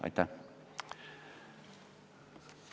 Aitäh!